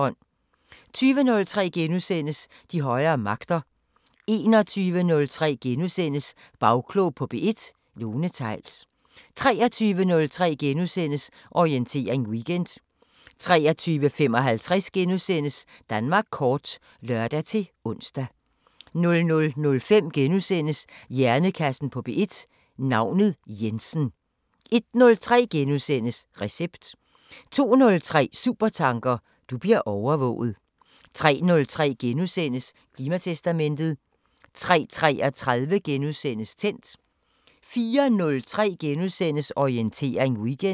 20:03: De højere magter * 21:03: Bagklog på P1: Lone Theils * 23:03: Orientering Weekend * 23:55: Danmark kort *(lør-ons) 00:05: Hjernekassen på P1: Navnet Jensen * 01:03: Recept * 02:03: Supertanker: Du bliver overvåget 03:03: Klimatestamentet * 03:33: Tændt * 04:03: Orientering Weekend *